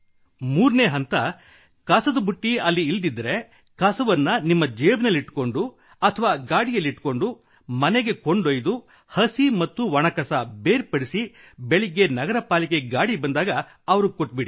3 ನೇ ಹಂತ ಕಸದ ಬುಟ್ಟಿ ಅಲ್ಲಿ ಇಲ್ಲದಿದ್ದರೆ ಕಸವನ್ನು ನಿಮ್ಮ ಜೇಬಿನಲ್ಲಿಟ್ಟುಕೊಂಡು ಅಥವಾ ಗಾಡಿಯಲ್ಲಿಟ್ಟುಕೊಂಡು ಮನೆಗೆ ಕೊಂಡೊಯ್ದು ಹಸಿ ಮತ್ತು ಒಣ ಕಸ ಬೇರ್ಪಡಿಸಿ ಬೆಳಿಗ್ಗೆ ನಗರ ಪಾಲಿಕೆ ಗಾಡಿ ಬಂದಾಗ ಅವರಿಗೆ ಕೊಟ್ಟುಬಿಡಿ